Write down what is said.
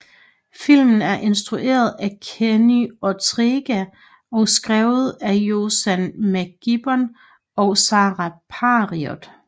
Filmen er instrueret af Kenny Ortega og skrevet af Josann McGibbon og Sara Parriott